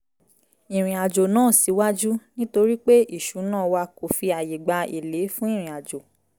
ìrìn àjò náà síwájú nítorí pé ìṣuná wa kò fi àyè gba èlé fún ìrìnàjò